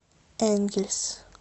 энгельс